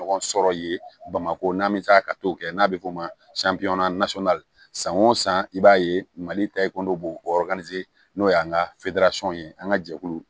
Ɲɔgɔn sɔrɔ yen bamako n'an bɛ taa ka t'o kɛ n'a bɛ f'o ma san o san i b'a ye mali b'o n'o y'an ka ye an ka jɛkulu